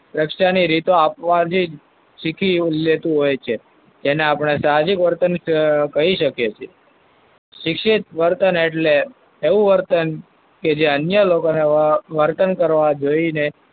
પ્રશ્ન ની રીતો આપવાથી જ શીખી લેતું હોય છે. એને આપણે સાહજિક વર્તન કહી શકીએ છીએ. શિક્ષિત વર્તન એટલે એવું વર્તન કે અંતે અન્ય લોકોને વર્તન કરતાં જોઈને,